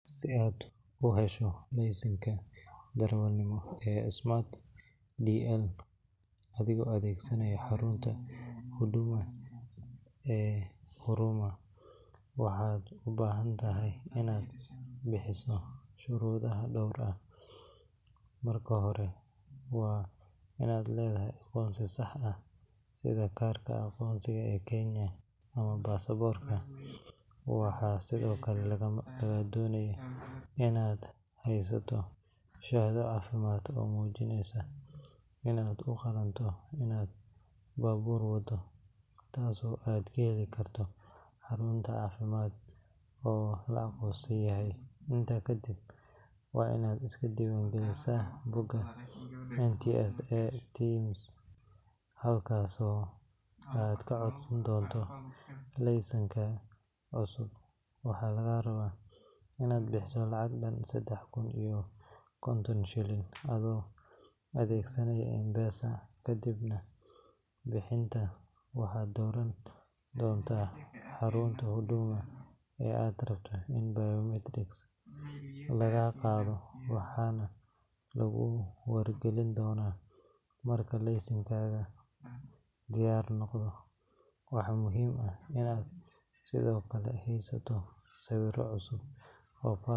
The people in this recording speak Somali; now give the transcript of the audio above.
Si aad u hesho laysanka darawalnimo ee SMART DL adigoo adeegsanaya xarunta Huduma ee Huruma, waxaad u baahan tahay inaad buuxiso shuruudo dhowr ah. Marka hore, waa inaad leedahay aqoonsi sax ah sida kaarka aqoonsiga ee Kenya ama baasaboorka. Waxaa sidoo kale lagaa doonayaa inaad haysato shahaado caafimaad oo muujinaysa inaad u qalanto inaad baabuur wado, taasoo aad ka heli karto xarun caafimaad oo la aqoonsan yahay. Intaa kadib, waa inaad iska diiwaangelisaa bogga NTSA TIMS, halkaasoo aad ka codsan doonto laysankaaga cusub. Waxaa lagaa rabaa inaad bixiso lacag dhan saddex kun iyo konton shilin (KES 3,050) adoo adeegsanaya M-PESA. Kadib bixinta, waxaad dooran doontaa xarunta Huduma ee aad rabto in biometrics laga qaado, waxaana lagu wargelin doonaa marka laysankaaga diyaar noqdo. Waxaa muhiim ah inaad sidoo kale haysato sawirro cusub oo.